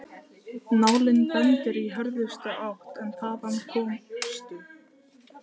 Nálin bendir í hörðustu átt en þaðan komstu